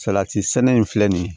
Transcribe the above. Salati sɛnɛ in filɛ nin ye